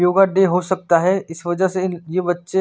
योग डे हो सकता है इस वजह से इन ये बच्चे--